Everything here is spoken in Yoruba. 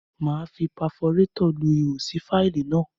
Máa fi paforétọ̀ lu ihò sí fáìlì náà.